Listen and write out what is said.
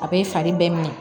A bɛ fari bɛɛ minɛ